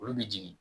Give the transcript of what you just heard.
Olu bɛ jigin